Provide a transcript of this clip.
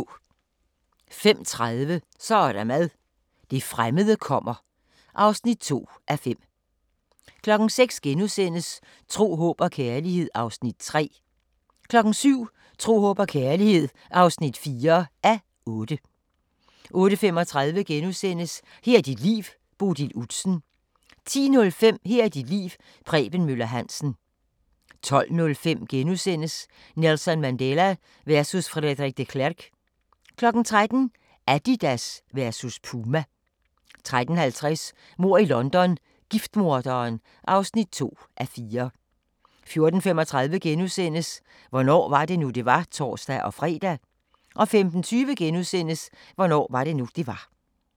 05:30: Så er der mad – det fremmede kommer (2:5) 06:00: Tro, håb og kærlighed (3:8)* 07:00: Tro, håb og kærlighed (4:8) 08:35: Her er dit liv – Bodil Udsen * 10:05: Her er dit liv – Preben Møller Hansen 12:05: Nelson Mandela versus Frederik de Klerk * 13:00: Adidas versus Puma 13:50: Mord i London – giftmorderen (2:4) 14:35: Hvornår var det nu, det var? *(tor-fre) 15:20: Hvornår var det nu, det var? *